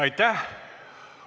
Aitäh!